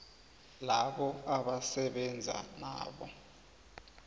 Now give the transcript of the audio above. labo abasebenza nabo